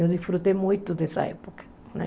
Eu disfrutei muito dessa época, né?